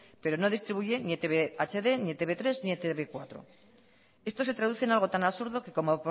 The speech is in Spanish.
pero no distribuye ni etb hd ni etb hiru ni etb lau esto se traduce en algo tan absurdo que como